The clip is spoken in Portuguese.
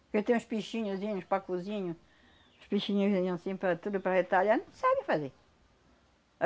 Porque tem uns pichinhoszinhos para cozinha, uns pichinhoszinhos assim para tudo, para detalhar, não sabem fazer.